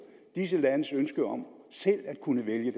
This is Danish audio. disse landes ønske om selv at kunne vælge